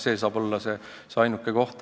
See saab olla ainuke selline koht.